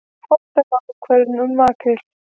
Fordæma ákvörðun um makríl